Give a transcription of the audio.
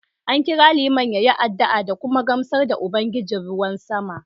An kira Liman ya yi addu’a da kuma gamsar da Ubangijin ruwan sama